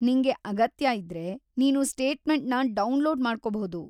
ನಿಂಗೆ ಅಗತ್ಯ ಇದ್ರೆ, ನೀನು ಸ್ಟೇಟ್‌ಮೆಂಟ್‌ನ ಡೌನ್‌ಲೋಡ್‌ ಮಾಡ್ಕೊಬಹುದು.